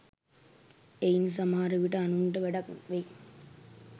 එයින් සමහර විට අනුන්ට වැඩක් වෙයි